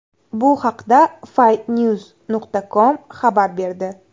Bu haqda Fightnews.com xabar berdi .